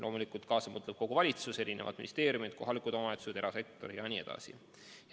Loomulikult mõtleb kaasa kogu valitsus, mõtlevad ministeeriumid, kohalikud omavalitsused, erasektor jne.